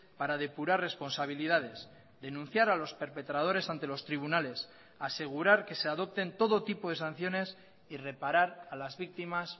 para depurar responsabilidades denunciar a los perpetradores ante los tribunales asegurar que se adopten todo tipo de sanciones y reparar a las víctimas